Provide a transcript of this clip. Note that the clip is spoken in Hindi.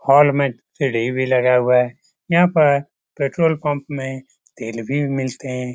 हॉल में टी.वी. भी लगा हुवा है यहाँ पर पेट्रोल पंप में फिर तेल भी मिलते है।